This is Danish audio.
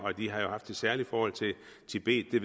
og de har jo haft et særligt forhold til tibet vi